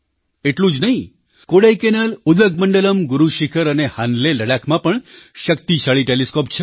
એટલું જ નહીં કોડાઈકેનાલ ઉદગમંડલમ ગુરુશિખર અને હાન્લે લદ્દાખમાં પણ શક્તિશાળી ટૅલિસ્કૉપ છે